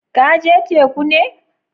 Ka je teku ne?